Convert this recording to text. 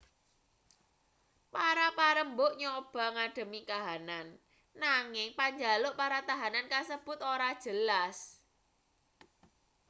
para parembug nyoba ngadhemi kahanan nanging panjaluk para tahanan kasebut ora jelas